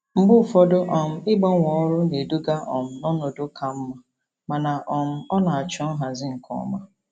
Mgbe ụfọdụ um ịgbanwe ọrụ na-eduga um n'ọnọdụ ka mma, mana um ọ na-achọ nhazi nke ọma.